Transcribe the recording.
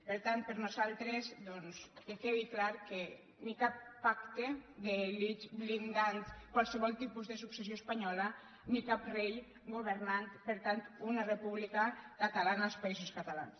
per tant per nosaltres que quedi clar que ni cap pacte blindant qualsevol tipus de successió espanyola ni cap rei governant per tant una república catalana als països catalans